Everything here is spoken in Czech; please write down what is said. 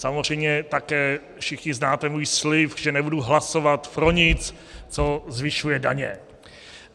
Samozřejmě také všichni znáte můj slib, že nebudu hlasovat pro nic, co zvyšuje daně.